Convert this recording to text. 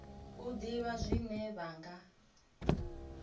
u ḓivha zwine vha nga